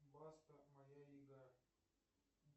баста моя игра